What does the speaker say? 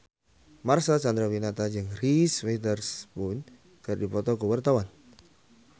Marcel Chandrawinata jeung Reese Witherspoon keur dipoto ku wartawan